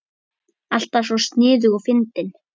Alltaf svo sniðug og fyndin.